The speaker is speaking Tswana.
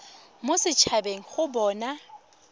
mo set habeng go bona